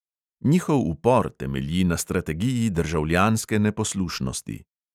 Njihov upor temelji na strategiji državljanske neposlušnosti.